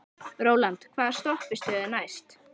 Rólant, hvaða stoppistöð er næst mér?